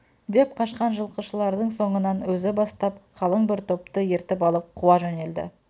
деп қашқан жылқышылардың соңынан өзі бастап қалың бір топты ертіп алып қуа жөнелді